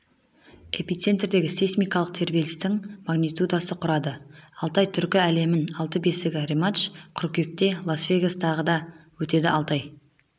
эпицентрдегі сейсмикалық тербелістің магнитудасы құрады алтай түркі әлемінің алтын бесігі рематч қыркүйекте лас-вегастағы да өтеді алтай